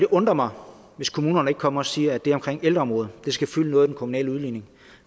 undre mig hvis kommunerne ikke kommer og siger at det omkring ældreområdet skal fylde noget i den kommunale udligning